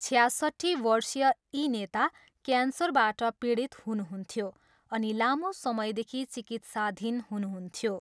छयासट्ठी वर्षीय यी नेता क्यान्सरबाट पीडित हुनुहुन्थ्यो अनि लामो समयदेखि चिकित्साधीन हुनुहुन्थ्यो।